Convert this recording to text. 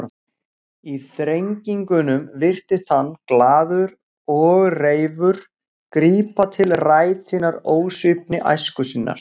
Í þrengingunum virtist hann, glaður og reifur, grípa til rætinnar ósvífni æsku sinnar.